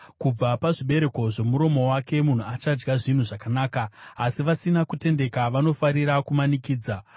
Kubva pazvibereko zvomuromo wake munhu achadya zvinhu zvakanaka, asi vasina kutendeka vanofarira kumanikidza.